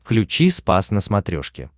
включи спас на смотрешке